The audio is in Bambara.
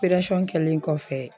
Operasɔn kɛlen kɔfɛ